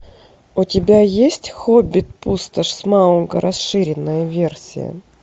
у тебя есть хоббит пустошь смауга расширенная версия